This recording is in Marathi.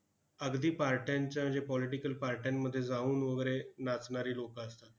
अगदी parties च्या म्हणजे political parties मध्ये जाऊन वगैरे नाचणारी लोकं असतात.